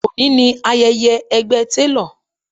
Òní ni ayẹyẹ ẹgbẹ́ télọ̀